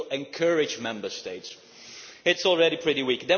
OK, you will encourage Member States. It is already pretty weak.